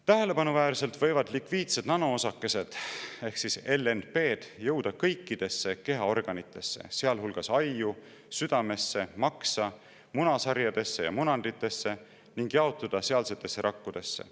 Tähelepanuväärselt võivad lipiidsed nanoosakesed ehk LNP-d jõuda kõikidesse kehaorganitesse, sealhulgas ajju, südamesse, maksa, munasarjadesse ja munanditesse, ning jaotuda sealsetesse rakkudesse.